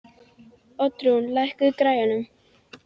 Oddrún, lækkaðu í græjunum.